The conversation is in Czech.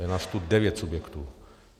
Je nás tu devět subjektů.